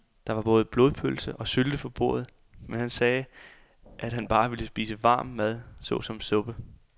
Der var både blodpølse og sylte på bordet, men han sagde, at han bare ville spise varm mad såsom suppe.